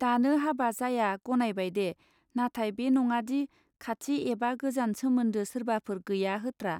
दानो हाबा जाया गनायबायदे नाथाय बे नङादि खाथि एबा गोजान सोमोन्दो सोरबाफोर गैया होत्रा.